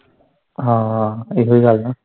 ਹਾਂ ਇਹੋ ਗੱਲ ਆ।